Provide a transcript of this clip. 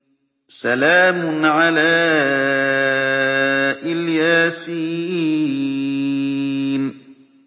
سَلَامٌ عَلَىٰ إِلْ يَاسِينَ